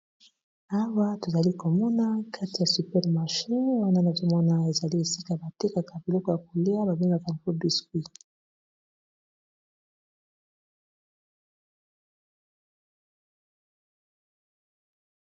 Awa tozali komona kati ya super marché, esika batekisaka biloko ya lolenge nionso ,awa tomoni biscuits.